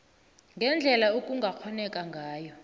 ngendlela okungakghoneka ngayo